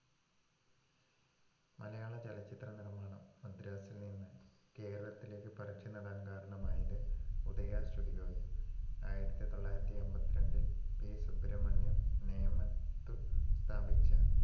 മലയാളചലച്ചിത്ര നിർമ്മാണം മദ്രാസിൽ നിന്ന് കേരളത്തിലേക്ക് പറിച്ചുനടാൻ കാരണമായത് ഉദയാ studio യും ആയിരത്തി തൊള്ളായിരത്തി അമ്പത്തി രണ്ടില്‍ പി. സുബ്രമണ്യം നേമത്തു സ്ഥാപിച്ച